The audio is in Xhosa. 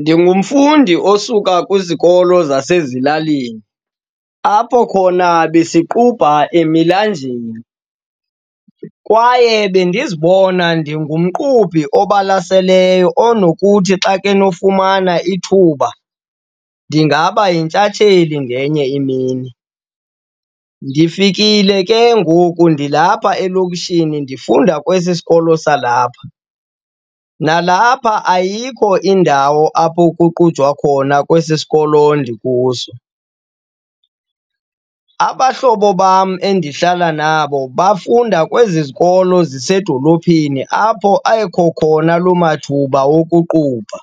Ndingumfundi osuka kwizikolo zasezilalini, apho khona besiqubha emilanjeni kwaye bendizibona ndingumqubhi obalaseleyo onokuthi xa kenofumana ithuba ndingaba yintshatsheli ngenye imini. Ndifikile ke ngoku ndilapha elokishini ndifunda kwesi sikolo salapha, nalapha ayikho indawo apho kuqujwa khona kwesi sikolo ndikuso. Abahlobo bam endihlala nabo bafunda kwezi zikolo zisedolophini apho ekho khona loo mathuba wokuqubha.